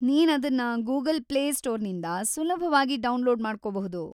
ನೀನದನ್ನ Google Play ಸ್ಟೋರ್‌ನಿಂದ ಸುಲಭವಾಗಿ download ಮಾಡ್ಕೊಬಹುದು.